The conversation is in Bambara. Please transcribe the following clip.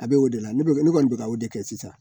A bɛ' o de la ne kɔni ne kɔni bɛ ka o de kɛ sisan.